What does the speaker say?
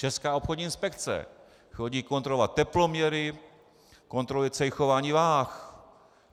Česká obchodní inspekce chodí kontrolovat teploměry, kontroluje cejchování vah.